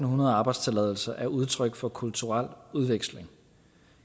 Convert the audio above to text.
hundrede arbejdstilladelser er udtryk for kulturel udveksling